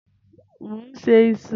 Mò ń se iṣu.